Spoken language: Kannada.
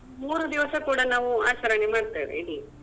ಮೂರೂ ದಿವಸ ಕೂಡ ನಾವು ಆಚರಣೆ ಮಾಡ್ತೇವೆ ಇಲ್ಲಿ.